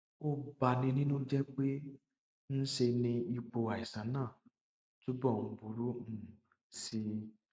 ó bani nínú jẹ pé ń ṣe ni ipò àìsàn náà túbọ ń burú um sí i